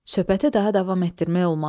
Söhbəti daha davam etdirmək olmazdı.